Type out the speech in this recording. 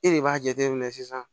E de b'a jateminɛ sisan